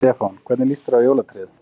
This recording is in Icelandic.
Stefán: Hvernig líst þér á jólatréð?